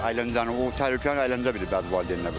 Əyləncəni o təhlükəni əyləncə bilir bəzi valideynlər.